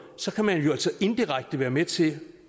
så kan man jo altså indirekte være med til